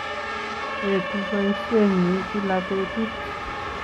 Eetu poisyennyi gila petut